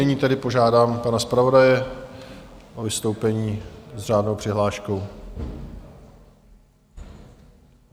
Nyní tedy požádám pana zpravodaje o vystoupení s řádnou přihláškou.